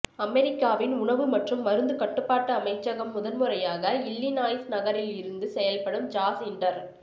அமெரிக்காவின் உணவு மற்றும் மருந்து கட்டுப்பாட்டு அமைச்சகம் முதன் முறையாக இல்லினாய்ஸ் நகரில் இருந்து செயல்படும் ஜாஸ் இன்டர்